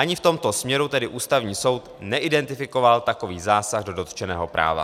Ani v tomto směru tedy Ústavní soud neidentifikoval takový zásah do dotčeného práva.